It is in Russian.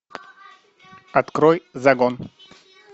открой загон